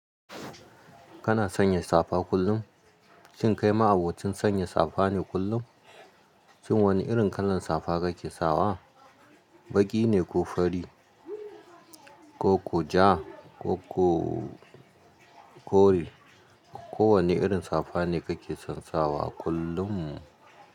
Kana sanya safa kullum? Shin kai ma abokin sanya safa ne kullum? Shin wani irin kalan safa kake sawa? Baƙi ne ko fari, koko ja, ko kore, ko wane irin safa ne kake son sawa kullum?